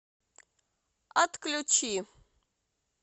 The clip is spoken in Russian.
отключи